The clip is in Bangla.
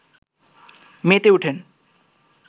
মেতে ওঠেন